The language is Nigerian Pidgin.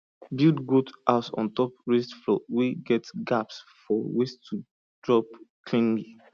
build goat house on top raised floor wey get gaps for waste to drop cleanly